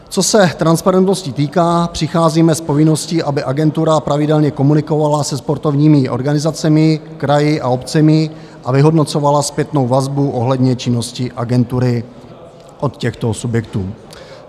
Co se transparentnosti týká, přicházíme s povinností, aby agentura pravidelně komunikovala se sportovními organizacemi, kraji a obcemi a vyhodnocovala zpětnou vazbu ohledně činnosti agentury od těchto subjektů.